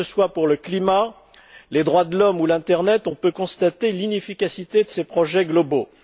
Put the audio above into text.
Tant pour le climat que pour les droits de l'homme ou l'internet, on peut constater l'inefficacité de ces projets globaux.